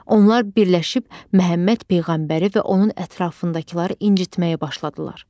Onlar birləşib Məhəmməd peyğəmbəri və onun ətrafındakıları incitməyə başladılar.